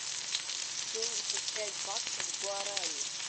семьдесят пять баксов в гуарани